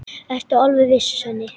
Ertu alveg viss, Svenni?